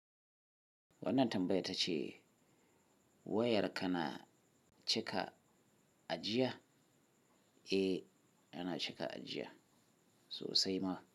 Wannan tambaya ta ce wayar ka na cika ajiya? Eh, yana cika ajiya sosai ma.